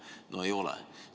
No ei ole!